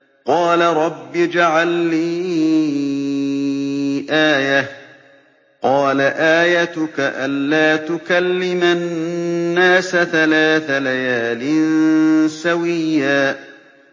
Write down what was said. قَالَ رَبِّ اجْعَل لِّي آيَةً ۚ قَالَ آيَتُكَ أَلَّا تُكَلِّمَ النَّاسَ ثَلَاثَ لَيَالٍ سَوِيًّا